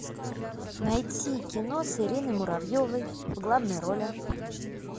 найти кино с ириной муравьевой в главной роли